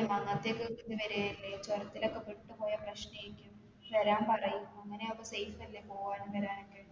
ഇപ്പൊ അന്നത്തെ വരല്ലേ ചെറുതിലെ ഒക്കെ വിട്ടു പോയ പ്രശ്നെയിരിക്കും വരാൻ പറയ് അങ്ങനെ ആകുമ്പോ safe അല്ലെ പോകാനും വരാനൊക്കെ